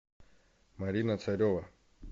марина царева